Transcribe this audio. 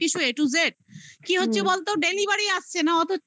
সবকিছু a to z কি হচ্ছে বলতো? delivery আসছে না